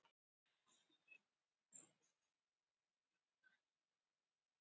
Haldið þið námskeið, heimsækið þið alla, stefnið þeim til þings eða hvað gerið þið?